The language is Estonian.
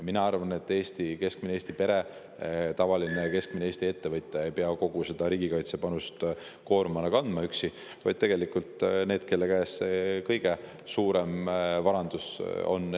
Mina arvan, et keskmine Eesti pere, tavaline keskmine Eesti ettevõtja ei pea kogu seda riigikaitsepanuse koormust kandma üksi, vaid need, kelle käes see kõige suurem varandus on.